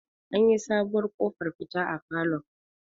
an yi sabuwar ƙofar fita a falon